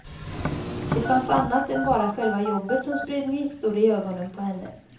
Det fanns annat än bara själva jobbet som spred gnistor i ögonen på henne.